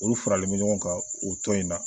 Olu faralen bɛ ɲɔgɔn kan o tɔn in na